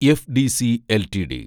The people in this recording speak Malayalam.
FDC LTD